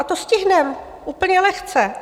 A to stihneme, úplně lehce.